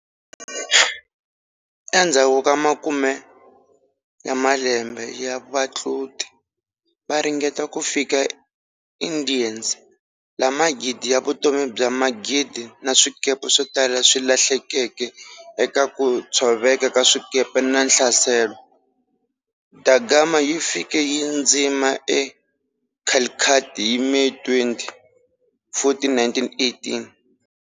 Endzhaku ka makume ya malembe ya vatluti va ringeta ku fika eIndies, laha magidi ya vutomi bya magidi na swikepe swotala swi lahlekeke eka ku tshoveka ka swikepe na nhlaselo, da Gama yi fike yi dzima e Calicut hi May 20, 1498.